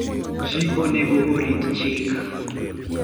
Ji onego orit chik.